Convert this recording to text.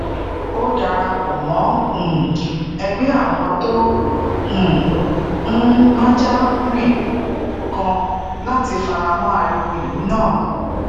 ó darapò mó um egbe awon to um n maja rin kan láti faramo ariwo ilu naa